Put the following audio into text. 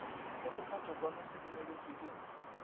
ge sephethokwano se dumeletšwe ke